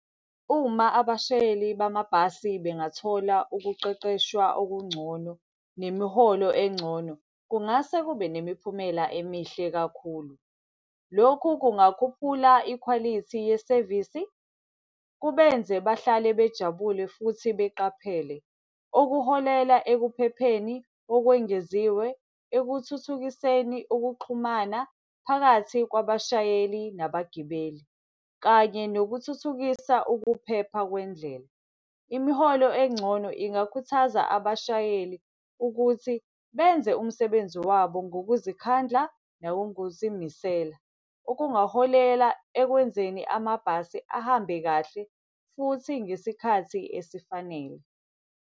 Uma abashayeli bamabhasi bengathola ukuqeqeshwa okungcono nemiholo engcono, kungase kube nemiphumela emihle kakhulu. Lokhu kungakhuphula ikhwalithi yesevisi, kubenze bahlale bejabule futhi beqaphele. Okuholela ekuphepheni okwengeziwe, ekuthuthukiseni ukuxhumana phakathi kwabashayeli nabagibeli, kanye nokuthuthukisa ukuphepha kwendlela. Imiholo engcono ingakhuthaza abashayeli ukuthi benze umsebenzi wabo ngokuzikhandla nangokuzimisela, okungaholela ekwenzeni amabhasi ahambe kahle futhi ngesikhathi esifanele.